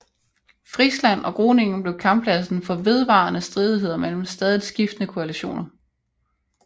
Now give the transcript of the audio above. Friesland og Groningen blev kamppladsen for vedvarende stridigheder mellem stadigt skiftende koalitioner